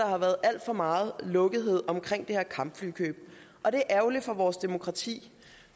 har været alt for meget lukkethed omkring det her kampflykøb og det er ærgerligt for vores demokrati